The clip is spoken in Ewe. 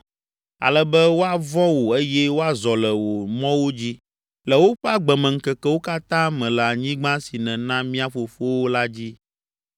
ale be woavɔ̃ wò eye woazɔ le wò mɔwo dzi le woƒe agbemeŋkekewo katã me le anyigba si nèna mía fofowo la dzi.